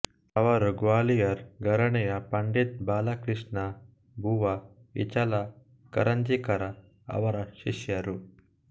ಅವರು ಗ್ವಾಲಿಯರ್ ಘರಾಣೆಯ ಪಂಡಿತ್ ಬಾಲಕೃಷ್ಣ ಬುವಾ ಇಚಲ ಕರಂಜೀಕರ ಅವರ ಶಿಷ್ಯರು